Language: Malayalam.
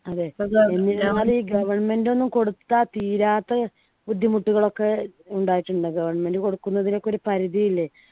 അതെ ഈ government ഒന്നും കൊടുത്ത തീരാത്ത ബുദ്ധിമുട്ടുകളൊക്കെ ഉണ്ടായിട്ടുണ്ട് government കൊടുക്കുന്നതിന് ഒക്കെ ഒരു പരിധി ഇല്ലേ